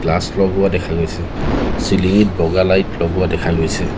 Glass লগোৱা দেখা গৈছে চিলিং ঙিত বগা লাইট লগোৱা দেখা গৈছে।